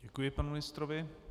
Děkuji panu ministrovi.